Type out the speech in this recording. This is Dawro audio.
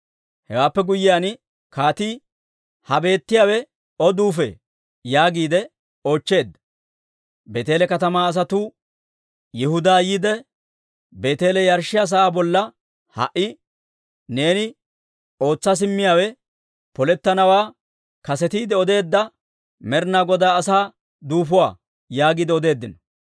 Hewaappe guyyiyaan kaatii, «Ha beettiyaawe O duufee?» yaagiide oochcheedda. Beeteele katamaa asatuu, «Yihudaappe yiide, Beeteele yarshshiyaa sa'aa bolla ha"i neeni ootsa simmiyaawe polettanawaa kasetiide odeedda Med'ina Godaa asaa duufuwaa» yaagiide odeeddino.